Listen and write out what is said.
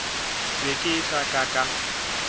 be ke se ka ka